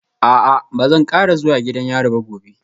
A'a ba zan kara zuwa gidan yari ba gobe